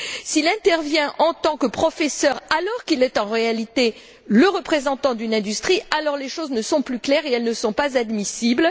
S'il intervient en tant que professeur alors qu'il est en réalité le représentant d'une industrie, alors les choses ne sont plus claires et elles ne sont pas admissibles.